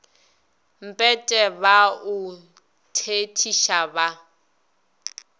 mpete ba o thethiša ba